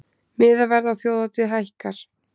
Miðaverð á þjóðhátíð hækkar